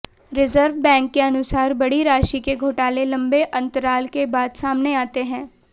reserve bank के अनुसार बड़ी राशि के घोटाले लंबे अंतराल के बाद सामने आते हैं